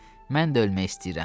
Mən də ölmək istəyirəm.